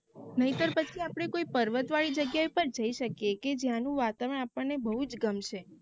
નહીંતર પછી આપડે કોઈ પર્વત વાળી જગ્યા એ પણ જય શકીયે કે જ્યાંનું વાતાવરણ આપાનને ને બોવ જ ગમશે